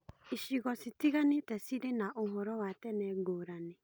Icigo citiganĩte cirĩ na ũhoro wa tene ngũrani.